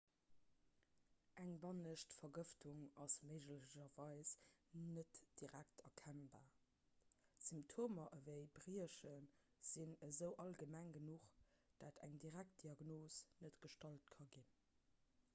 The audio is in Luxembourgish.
eng bannescht vergëftung ass méiglecherweis net direkt erkennbar symptomer ewéi briechen sinn esou allgemeng genuch datt eng direkt diagnos net gestallt ka ginn